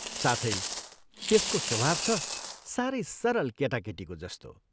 साथै त्यसको स्वभाव छ सारै सरल केटाकेटीको जस्तो।